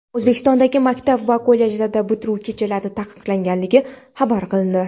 O‘zbekistondagi maktab va kollejlarda bitiruv kechalari taqiqlangani xabar qilindi.